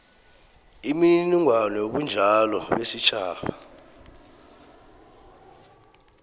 imininingwana yobunjalo besitjhaba